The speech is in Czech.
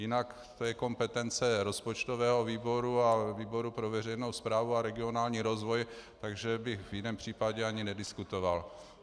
Jinak to je kompetence rozpočtového výboru a výboru pro veřejnou správu a regionální rozvoj, takže bych v jiném případě ani nediskutoval.